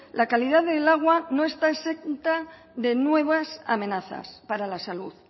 la calidad del agua no está exenta de nuevas amenazas para la salud